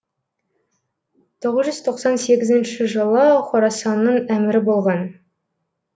тоғыз жүз тоқсан сегізінші жылы хорасанның әмірі болған